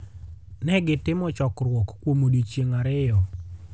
Ne gitimo chokruok kuom odiechienge ariyo.